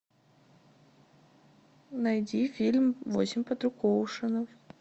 найди фильм восемь подруг оушена